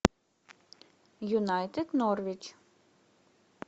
юнайтед норвич